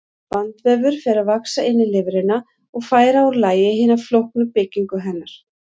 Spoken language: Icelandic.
Bandvefur fer að vaxa inn í lifrina og færa úr lagi hina flóknu byggingu hennar.